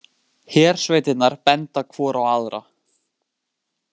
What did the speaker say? Hersveitirnar benda hvor á aðra